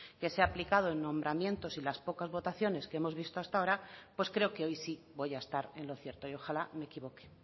que se ha aplicado en nombramientos y las pocas votaciones que hemos visto hasta ahora pues creo que hoy sí voy a estar en lo cierto y ojalá me equivoque